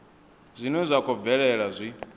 zwine zwa khou bvelela zwi